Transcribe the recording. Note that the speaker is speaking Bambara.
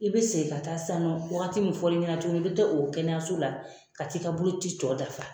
I be segin ka taa sisan nɔ wagati mun fɔl'i ɲɛna tuguni i be taa o kɛnɛyaso la ka t'i ka boloci tɔɔ dafa